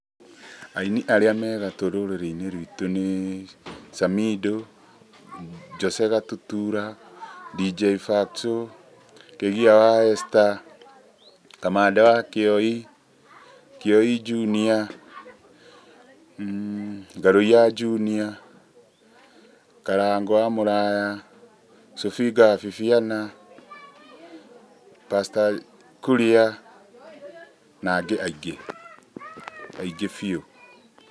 Aini arĩa megatũ rũrĩrĩ-inĩ rwitũ nĩ, Samido, Jose Gatutura, Dj Fatxo, Kĩgia wa Esther, Kamande wa Kioi, Kioi Junior, Ngarũiya Junior, Karangũ wa Muraya, Sobinga wa Bibiana, Pastor Kuria na angĩ aingĩ, aingĩ biũ.